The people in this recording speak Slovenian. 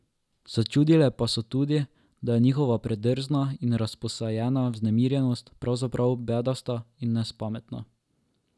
Začutile pa so tudi, da je njihova predrzna in razposajena vznemirjenost pravzaprav bedasta in nespametna.